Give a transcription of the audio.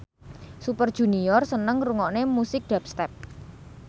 Super Junior seneng ngrungokne musik dubstep